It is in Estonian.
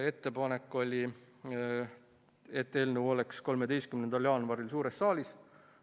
Ettepanek oli selline, et eelnõu oleks 13. jaanuaril suures saalis.